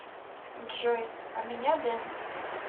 джой а меня дэн